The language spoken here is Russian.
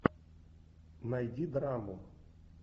найди драму